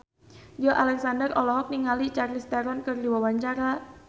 Joey Alexander olohok ningali Charlize Theron keur diwawancara